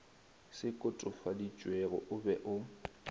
se kotofaditšwego o be o